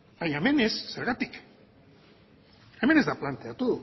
baina hemen ez zergatik hemen ez da planteatu